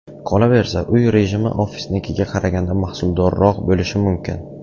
Qolaversa, uy rejimi ofisnikiga qaraganda mahsuldorroq bo‘lishi mumkin.